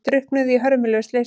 Drukknuðu í hörmulegu slysi